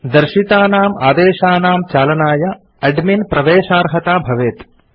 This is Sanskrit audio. दर्शितानाम् आदेशानां चालनाय एडमिन् प्रवेशार्हता भवेत्